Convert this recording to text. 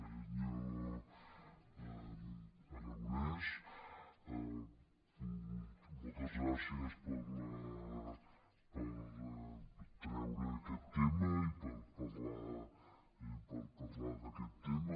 senyor aragonès moltes gràcies per treure aquest tema i per parlar d’aquest tema